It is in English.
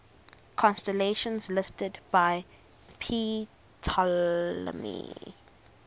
constellations listed by ptolemy